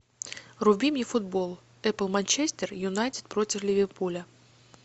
вруби мне футбол апл манчестер юнайтед против ливерпуля